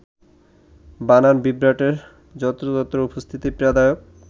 বানান বিভ্রাটের যত্রতত্র উপস্থিতি পীড়াদায়ক